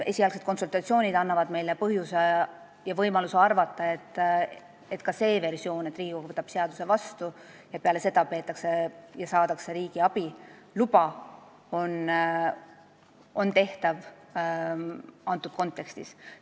Esialgsed konsultatsioonid on andnud meile põhjust ja võimaluse arvata, et ka see versioon, et Riigikogu võtab seaduse vastu ja riigiabiluba saadakse peale seda, on antud kontekstis tehtav.